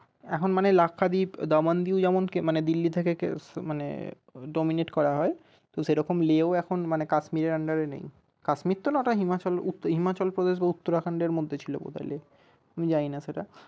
এখন মানে লাক্ষাদ্বীপ দামনদ্বীপ যেমন মানে দিল্লি থেকে মানে dominate করা হয় তো সেরকম Leh ও এখন মানে কাশ্মীরের under এ নেই কাশ্মীর তো না হিমাচলপ্রদেশ বা উত্তরাখণ্ড এর মধ্যে ছিল বোধয় Leh জানিনা সেটা।